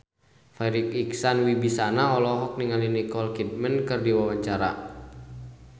Farri Icksan Wibisana olohok ningali Nicole Kidman keur diwawancara